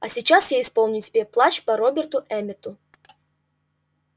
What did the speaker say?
а сейчас я исполню тебе плач по роберту эммету